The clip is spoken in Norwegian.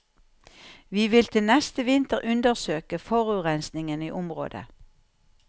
Vi vil til neste vinter undersøke forurensingen i området.